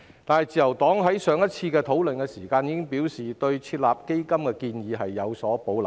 但是，自由黨在上次討論時已表示，對設立基金的建議有保留。